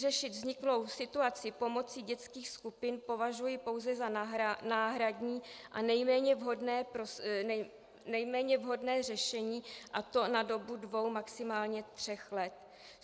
Řešit vzniklou situaci pomocí dětských skupin považuji pouze za náhradní a nejméně vhodné řešení, a to na dobu dvou, maximálně tří let.